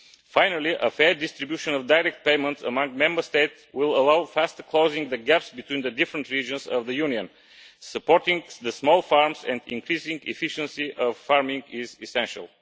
Finally, a fair distribution of direct payments among Member States will allow faster closing of the gaps between the different regions of the Union. Supporting the small farms and increasing efficiency of farming is essential.